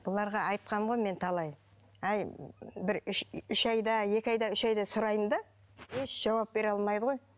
бұларға айтқанмын ғой мен талай әй бір үш үш айда екі айда үш айда сұраймын да еш жауап бере алмайды ғой